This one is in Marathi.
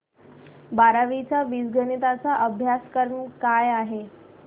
बारावी चा बीजगणिता चा अभ्यासक्रम काय आहे